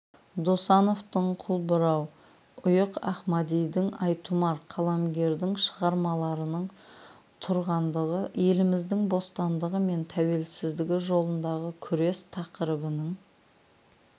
досановтың қылбұрау ұйық ахмадидің айтұмар қаламгерлердің шығармаларының тұрғандығы еліміздің бостандығы мен тәуелсіздігі жолындағы күрес тақырыбының